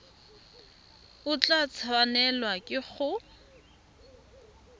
o tla tshwanelwa ke go